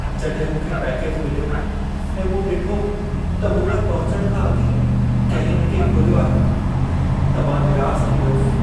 जॾहिं मूंखे पैकेज मिल्यो ऐं मूं डि॒ठो त मूं वटि पहुचणु खां अॻु ई कंहिं इन खे खोलियो आहे, त मां निरास थी वियुसि।